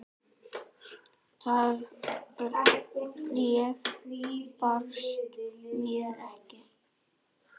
Það bréf barst mér ekki!